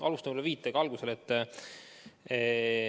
Alustan võib-olla viitega algusele.